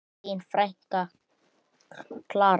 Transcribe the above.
Þín frænka, Klara.